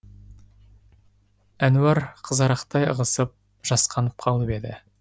әнуар қызарақтай ығысып жасқанып қалып еді